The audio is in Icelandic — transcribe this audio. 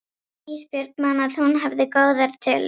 Ísbjörg man að hún hafði góðar tölur.